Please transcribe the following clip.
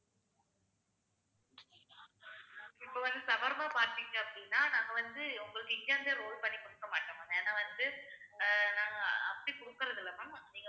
இப்ப வந்து shawarma பார்த்தீங்க அப்படின்னா நாங்க வந்து உங்களுக்கு இங்கருந்தே roll பண்ணி குடுக்க மாட்டோம் ma'am ஏன்னா வந்து அஹ் நாங்க அப்படி குடுக்குறதில்லை ma'am but நீங்க வந்து